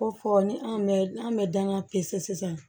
Ko fɔ ni an bɛ n'an bɛ dangan pese sisan